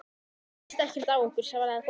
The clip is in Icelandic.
Hann ræðst ekkert á okkur, svaraði Kobbi.